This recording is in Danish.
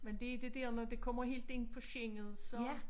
Men det det dér når det kommer helt ind på sjælen så